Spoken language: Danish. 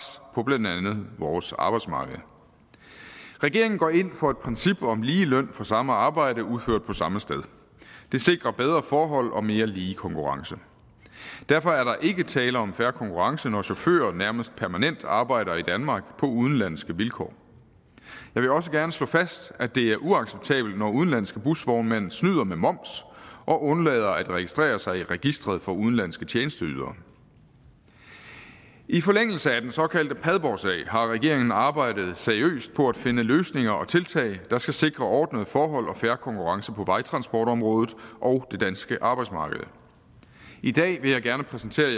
på blandt andet vores arbejdsmarked regeringen går ind for et princip om lige løn for samme arbejde udført på samme sted det sikrer bedre forhold og mere lige konkurrence derfor er der ikke tale om en fair konkurrence når chauffører nærmest permanent arbejder i danmark på udenlandske vilkår jeg vil også gerne slå fast at det er uacceptabelt når udenlandske busvognmænd snyder med moms og undlader at registrere sig i registreret for udenlandske tjenesteydere i forlængelse af den såkaldte padborgsag har regeringen arbejdet seriøst på at finde løsninger og tiltag der skal sikre ordnede forhold og fair konkurrence på vejtransportområdet og det danske arbejdsmarked i dag vil jeg gerne præsentere